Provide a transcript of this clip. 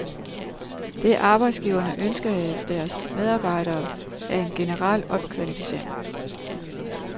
Det, arbejdsgiverne ønsker af deres medarbejdere, er en generel opkvalificering.